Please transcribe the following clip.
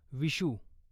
Vishu